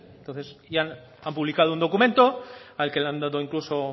entonces han publicado un documento al que le han dado incluso